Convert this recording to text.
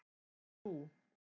Ó jú.